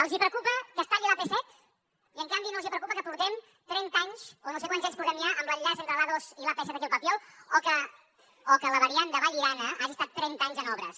els preocupa que es talli l’ap set i en canvi no els preocupa que portem trenta anys o no sé quants anys portem ja amb l’enllaç entre l’a dos i l’ap set aquí al papiol o que la variant de vallirana hagi estat trenta anys en obres